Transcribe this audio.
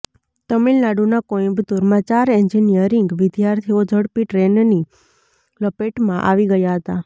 તમિલનાડુના કોઈમ્બતુરમાં ચાર એન્જિનિયરિંગ વિદ્યાર્થીઓ ઝડપી ટ્રેનની લપેટમાં આવી ગયા હતા